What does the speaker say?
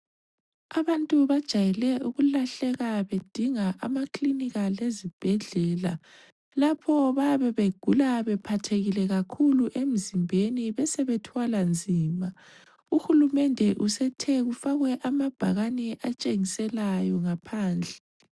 Abantu bajayele ukulahleka bedinga amaklinika lezibhedlela lapho bayabe begula bephathekile kakhulu emzimbeni besebethwala nzima. Uhulumende usethe kufakwe amabhakani atshengiselayo ngaphandle.